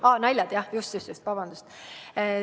Aa, naljad, jah, just-just, vabandust!